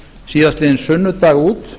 síðastliðinn sunnudag út